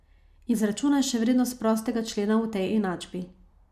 Izračunaj še vrednost prostega člena v tej enačbi.